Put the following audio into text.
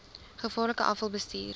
gevaarlike afval bestuur